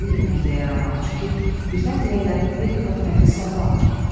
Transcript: Yağlı yemək də yaramaz, çünki birdən deyərlər Belikov pəhriz saxlamır.